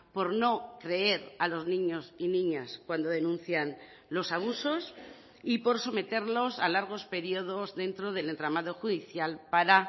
por no creer a los niños y niñas cuando denuncian los abusos y por someterlos a largos periodos dentro del entramado judicial para